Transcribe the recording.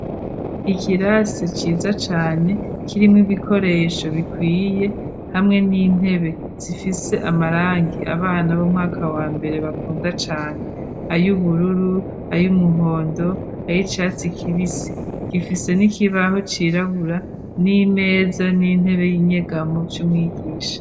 Ikirase ciza cane kirimwo ibikoresho bikwiye, hamwe n'intebe zifise amarangi abana b'umwaka wa mbere bakunda cane. Ay'ubururu, ay'umuhondo ay' icatsi kibisi. Gifise n'ikibaho cirabura n'imeza, n'intebe y'inyegamo vy'umwigisha.